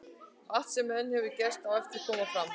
Og allt sem enn hefur ekki gerst, á eftir að koma fram.